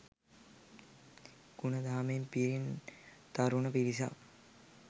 ගුණ දහමෙන් පිරි තරුණ පිරිසක්